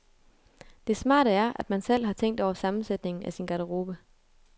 Det smarte er, at man selv har tænkt over sammensætningen af sin garderobe.